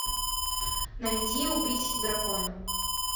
найди убить дракона